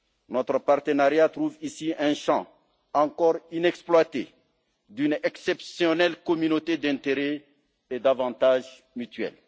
Notre partenariat trouve ici un champ, encore inexploité, d'une exceptionnelle communauté d'intérêts et d'avantages mutuels.